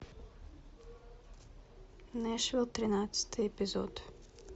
нэшвилл тринадцатый эпизод